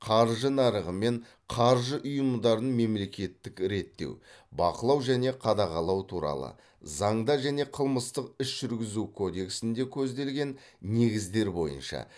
қаржы нарығы мен қаржы ұйымдарын мемлекеттік реттеу бақылау және қадағалау туралы заңда және қылмыстық іс жүргізу кодексінде көзделген негіздер бойынша